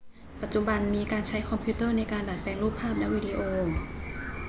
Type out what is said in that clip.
ปัจจุบันมีการใช้คอมพิวเตอร์ในการดัดแปลงรูปภาพและวิดีโอ